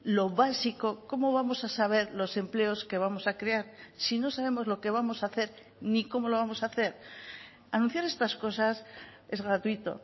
lo básico cómo vamos a saber los empleos que vamos a crear si no sabemos lo que vamos a hacer ni cómo lo vamos a hacer anunciar estas cosas es gratuito